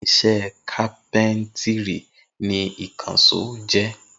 Irinṣẹ́ kápẹ́ńtírì ni ìkànṣó jẹ́.